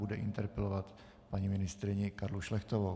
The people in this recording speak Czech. Bude interpelovat paní ministryni Karlu Šlechtovou.